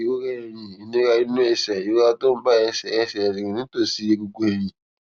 ìrora ẹyìn ìnira nínú ẹsè ìrora tó ń bá ẹsè ẹsè rìn nítòsí egungun ẹyìn